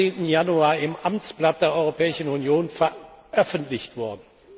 13. Januar im Amtsblatt der Europäischen Union veröffentlicht worden.